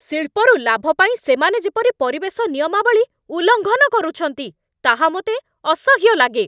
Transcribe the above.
ଶିଳ୍ପରୁ ଲାଭ ପାଇଁ ସେମାନେ ଯେପରି ପରିବେଶ ନିୟମାବଳୀ ଉଲ୍ଲଂଘନ କରୁଛନ୍ତି ତାହା ମୋତେ ଅସହ୍ୟ ଲାଗେ।